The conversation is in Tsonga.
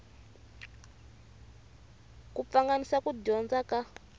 ku pfanganisa ku dyondza ka